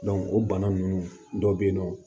o bana ninnu dɔ bɛ yen nɔ